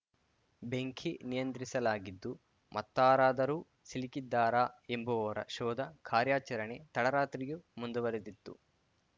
ಬೆಂಕಿ ನಿಯಂತ್ರಿಸಲಾಗಿದ್ದು ಮತ್ತಾರಾದರೂ ಸಿಲುಕಿದ್ದಾರಾ ಎಂಬುವರ ಶೋಧ ಕಾರ್ಯಾಚರಣೆ ತಡರಾತ್ರಿಯೂ ಮುಂದುವರಿದಿತ್ತು